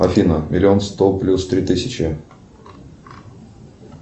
афина миллион сто плюс три тысячи